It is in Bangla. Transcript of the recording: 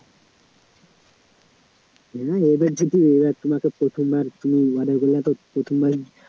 হা এবার যদি ওরা তোমাকে প্রথমবার তুমি উনাদের গুলা তো প্রথমবার